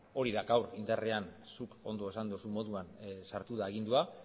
hori da gaur indarrean zuk ondo esan duzun moduan sartu den agindua